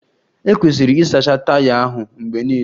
E kwesiri ịsacha taya ahụ mgbe niile.